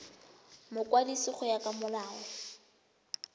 mokwadisi go ya ka molao